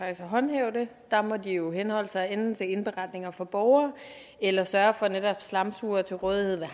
at håndhæve det der må de jo henholde sig til enten indberetninger fra borgere eller sørge for er netop slamsugere til rådighed